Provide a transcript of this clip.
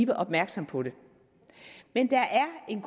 mere opmærksomme på det men der er en